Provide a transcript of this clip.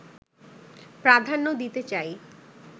প্রাধান্য দিতে চাই